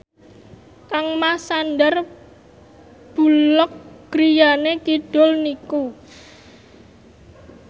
kangmas Sandar Bullock griyane kidul niku